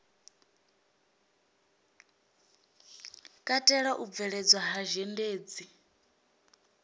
katela u bveledzwa ha zhendedzi